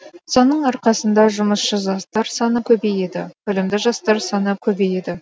соның арқасында жұмысшы жастар саны көбейеді білімді жастар саны көбейеді